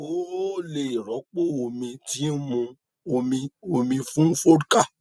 o ò o ò lè rọpò omi tí ń mu omi omi fún vodka